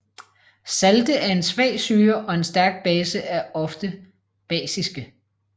Salte af en svag syre og en stærk base er ofte basiske